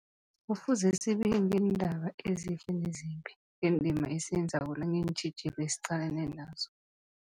Kufuze zibike ngeendaba ezihle nezimbi, ngendima esiyenzako nangeentjhijilo esiqalene nazo.